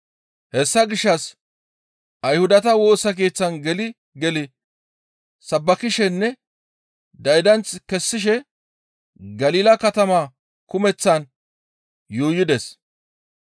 Hessa gishshas Ayhudata Woosa Keeththan geli geli sabbakishenne daydanth kessishe Galila katama kumeththaan yuuyides.